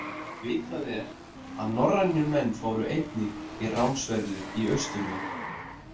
Vitað er að norrænir menn fóru einnig í ránsferðir í austurveg.